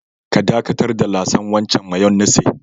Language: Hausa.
Ka dakatar da lasan wancan mayonnaise.